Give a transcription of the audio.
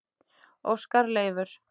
Óskar Leifur.